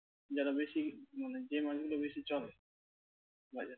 যারা বেশি উম মানে যে মানুষগুলো বেশি চলে বাজারে।